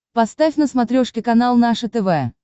поставь на смотрешке канал наше тв